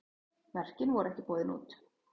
Verkin voru ekki boðin út.